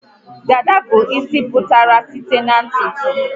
Dada bụ isi emepụtara site na ntutu